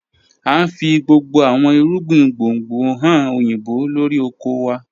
A ń fi gbogbo àwọn ìrúgbìn gbóngbò hàn oyinbó lọ́rí ọkọ̀ wà.